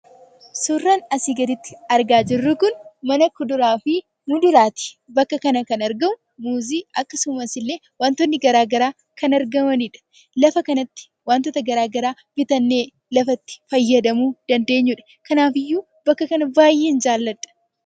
Suuraan asii gaditti argaa jirru kun, mana kuduraafi muduraati. Bakka kanatti kan argamu muuzii, akkasumas illee wantootni garaa garaa kan argamaniidha. Bakka kana irraa wantoota barbaanne bitannee lafa itti fayyadamuu dandeenyuudha. Kanaafiyyuu bakka kana baay'een jaaladha.